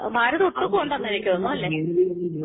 ഭാരതം അല്ലേ